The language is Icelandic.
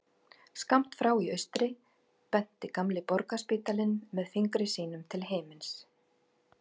Skammt frá í austri benti gamli Borgarspítalinn með fingri sínum til himins.